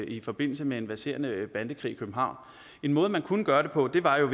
i forbindelse med en verserende bandekrig i københavn en måde man kunne gøre det på var jo